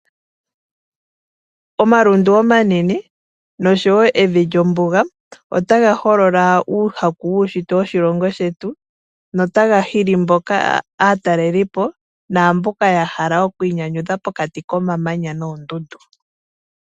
Omalundu omanene nosho woo ombuga otayi holola uushitwe woshilongo shetu. Otaga hili woo aatalelipo naamboka yahala okwiinyanyudhila komamanya nokoondundu.